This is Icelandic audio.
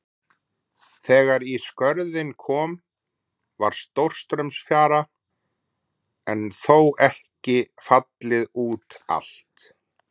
Þegar í Skörðin kom var stórstraumsfjara en þó ekki fallið út allt.